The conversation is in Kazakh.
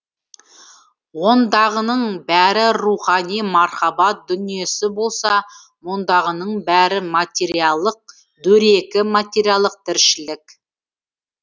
ондағының бәрі рухани мархабат дүниесі болса мұндағының бәрі материялық дөрекі материялық тіршілік